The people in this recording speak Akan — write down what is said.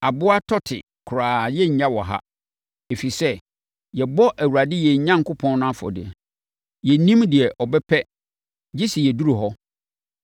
Aboa tɔte koraa yɛrennya wɔ ha; ɛsɛ sɛ yɛbɔ Awurade, yɛn Onyankopɔn no afɔdeɛ. Yɛnnim deɛ ɔbɛpɛ gye sɛ yɛduru hɔ.”